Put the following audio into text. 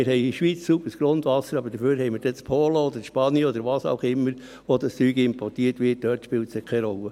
Ja, wir haben in der Schweiz sauberes Grundwasser, aber dafür spielt es dann in Polen oder in Spanien oder woher auch immer das Zeug importiert wird, keine Rolle.